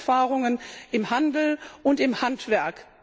gute Erfahrungen im Handel und im Handwerk.